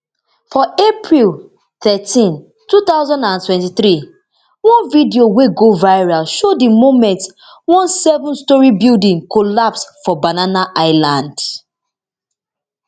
for april thirteen two thousand and twenty-three one video wey go viral show di moment one sevenstorey building collapse for banana island